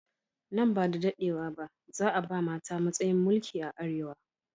Nan bada daɗewa ba, za a ba mata matsayin mulki a Arewa.